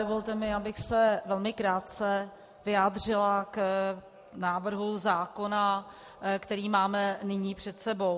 Dovolte mi, abych se velmi krátce vyjádřila k návrhu zákona, který máme nyní před sebou.